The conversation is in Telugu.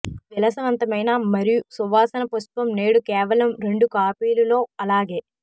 ఈ విలాసవంతమైన మరియు సువాసన పుష్పం నేడు కేవలం రెండు కాపీలు లో అలాగే